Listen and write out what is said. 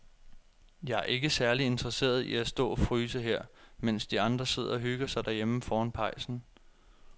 Jeg er ikke særlig interesseret i at stå og fryse her, mens de andre sidder og hygger sig derhjemme foran pejsen.